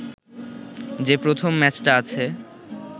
যে প্রথম ম্যাচটা আছে